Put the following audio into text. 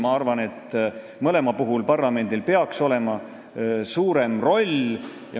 Ma arvan, et mõlemal puhul peaks parlamendil olema suurem roll.